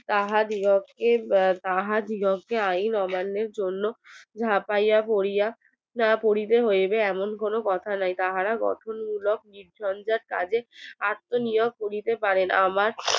তাহা দিগ্কে তাহা দিগ্কে আইন অমান্যের জন্য ঝাপাইয়া পড়িয়া পড়িতে হইবে এমন কোনো কথা নাই তাহারা গঠন মূলক নির্ঝঞ্জাট কাজে আত্ম নিয়োগ করিতে পারেন আমার